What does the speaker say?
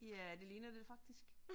Ja det ligner det faktisk